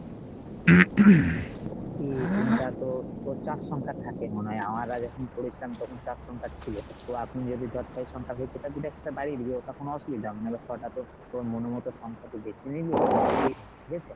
এই pin টা তো তোর চার সংখ্যার থাকে মনে হয়, আমরা যখন করেছিলাম তখন চার সংখ্যার ছিল তো এখন যদি ধর ছয় সংখ্যার হয়েছে তাহলে দুইটা একসঙ্গে বাড়িয়ে দিবি ঐটা কোনো অসুবিধা হবেনা, এবার ছয়টা তোর তোর মনের মতো সংখ্যা তুই বেছে নিলি ওখানে দিয়ে দিবি ঠিক আছে।